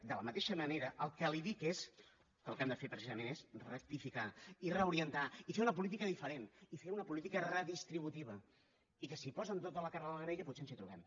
de la mateixa manera el que li dic és que el que hem de fer precisament és rectificar i reorientar i fer una política diferent i fer una política redistributiva i que si posen tota la carn a la graella potser ens hi trobem